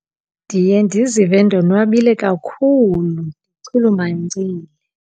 Ndiye ndizive ndonwabile kakhulu ndichulumancile.